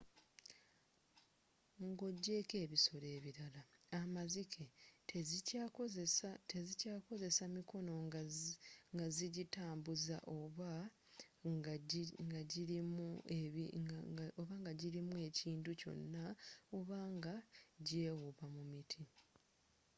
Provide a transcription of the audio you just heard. nga ogyeko ebisolo ebirala amazike tezikyakozesa mikono nga zijitambuza oba nga jirimu ekintu kyonna oba nga jewuuba mu miti